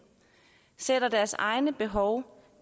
sætter deres egne behov